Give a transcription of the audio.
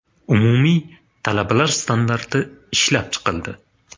Umumiy talablar” standarti ishlab chiqildi.